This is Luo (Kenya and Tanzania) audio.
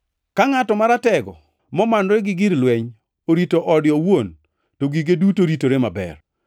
“Ka ngʼat maratego, momanore gi gige lweny orito ode owuon to gige duto ritore maber.